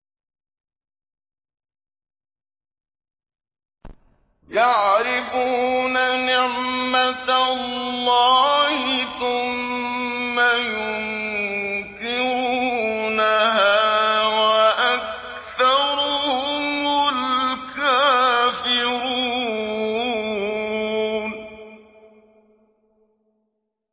يَعْرِفُونَ نِعْمَتَ اللَّهِ ثُمَّ يُنكِرُونَهَا وَأَكْثَرُهُمُ الْكَافِرُونَ